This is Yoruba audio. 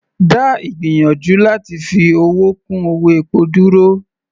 Dá ìgbìyànjú láti fi owó kún owó epo dúró.